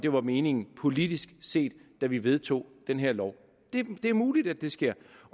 det var meningen politisk set da vi vedtog den her lov det er muligt at det sker